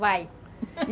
Vai!